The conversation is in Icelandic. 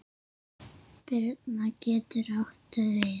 Birna getur átt við